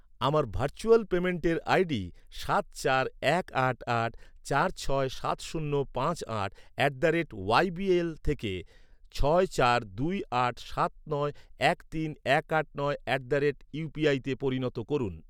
আমার ভার্চুয়াল পেমেন্টের আইডি সাত চার এক আট আট চার ছয় সাত শূন্য পাঁচ আট at the rate Y B L থেকে ছয় চার দুই আট সাত নয় এক তিন এক আট নয় অ্যাট দ্য রেট ইউপিআইতে পরিণত করুন।